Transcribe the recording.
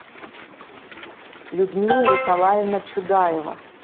людмила николаевна чудаева